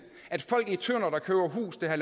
at